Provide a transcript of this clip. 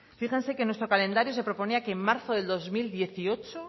fíjense que en nuestro calendario se proponía que en marzo del dos mil dieciocho